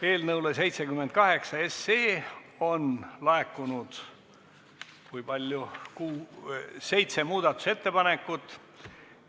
Eelnõu 78 kohta on laekunud seitse muudatusettepanekut.